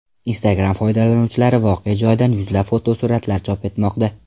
Instagram foydalanuvchilari voqea joyidan yuzlab fotosuratlar chop etmoqda.